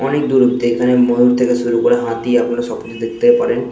অনকে দূরত্ব। এই খানে ময়ূর থেকে শুরু করে হাতি আপনারা সব কিছু দেখতে পারেন--